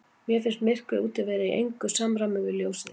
Mér fannst myrkrið úti vera í engu samræmi við ljósið inni.